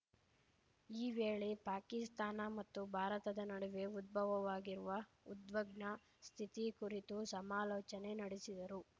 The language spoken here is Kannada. ಈ ವೇಳೆ ಪಾಕಿಸ್ತಾನ ಮತ್ತು ಭಾರತದ ನಡುವೆ ಉದ್ಭವವಾಗಿರುವ ಉದ್ವಗ್ನ ಸ್ಥಿತಿ ಕುರಿತು ಸಮಾಲೋಚನೆ ನಡೆಸಿದರು